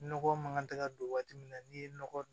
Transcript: Nɔgɔ man kan tɛ ka don waati min na n'i ye nɔgɔ don